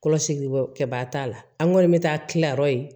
Kɔlɔsi kɛbaa t'a la an ŋɔni bɛ taa tilayɔrɔ ye